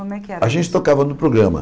Como é que era isso A gente tocava no programa.